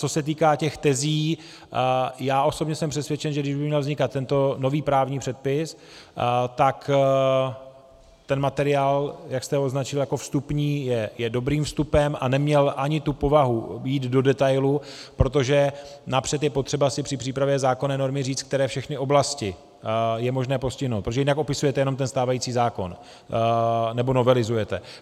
Co se týká těch tezí, já osobně jsem přesvědčen, že kdy by měl vznikat tento nový právní předpis, tak ten materiál, jak jste ho označil jako vstupní, je dobrým vstupem a neměl ani tu povahu jít do detailu, protože napřed je potřeba si při přípravě zákonné normy říct, které všechny oblasti je možné postihnout, protože jinak opisujete jenom ten stávající zákon nebo novelizujete.